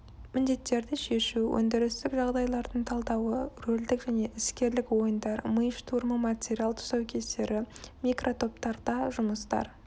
міндеттерді шешу өндірістік жағдайлардың талдауы рөлдік және іскерлік ойындар ми штурмы материал тұсаукесері микротоптарда жұмыстар